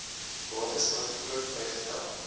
bates aangekoop bygetel